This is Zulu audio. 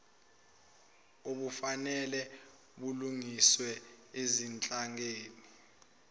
obufanele bulungiswe ezinhlakeni